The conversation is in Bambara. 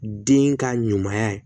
Den ka ɲumanya ye